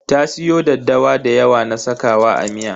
Ta siyo daddawa da yawa na sakawa a miya.